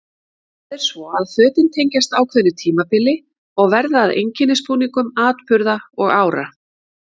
Það er svo að fötin tengjast ákveðnu tímabili og verða að einkennisbúningum atburða og ára.